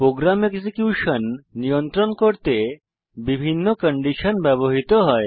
programme execution নিয়ন্ত্রণ করতে বিভিন্ন কন্ডিশন ব্যবহৃত হয়